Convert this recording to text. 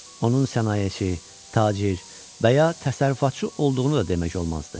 Onun sənayeçi, tacir və ya təsərrüfatçı olduğunu da demək olmazdı.